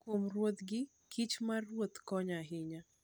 Kuom ruodhgi, kich mar ruoth konyo ahinya.